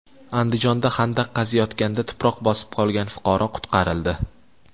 Andijonda xandaq qaziyotganda tuproq bosib qolgan fuqaro qutqarildi.